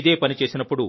ఇదే పని చేసినప్పుడు